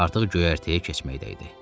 Artıq göyərtəyə keçməkdə idi.